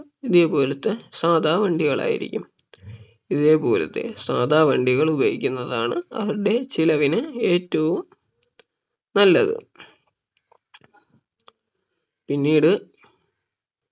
ഇതേപോലത്തെ സാധാ വണ്ടികൾ ആയിരിക്കും ഇതേപോലത്തെ സാധാ വണ്ടികൾ ഉപയോഗിക്കുന്നതാണ് അവരുടെ ചിലവിന് ഏറ്റവും നല്ലത് പിന്നീട്